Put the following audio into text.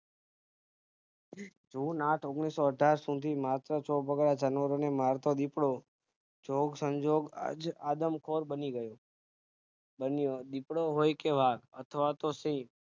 જૂન આઠ ઓગણીસો અઠાર સુધી માત્ર ચોપગા જાનવર ને મારતો દીપડો જોગ સંજોગ આજ આદમખોર બની ગયો દીપડો હોય કે વાઘ અથવાતો સિંહ